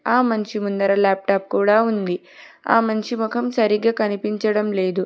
ఆ మనిషి ముందర లాప్టాప్ కూడా ఉంది ఆ మనిషి మొఖం సరిగ్గా కనిపించడం లేదు.